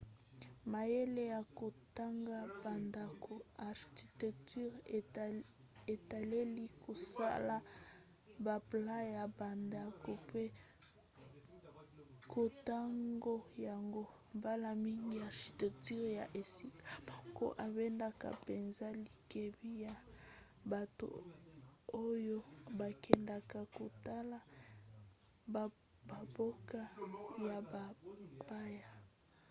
mayele ya kotonga bandako architecture etaleli kosala baplan ya bandako mpe kotonga yango. mbala mingi architecture ya esika moko ebendaka mpenza likebi ya bato oyo bakendaka kotala bamboka ya bapaya